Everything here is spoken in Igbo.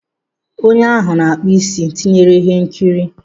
Onye ahụ na-akpụ isi tinyere ihe nkiri.